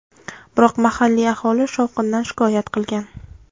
Biroq mahalliy aholi shovqindan shikoyat qilgan.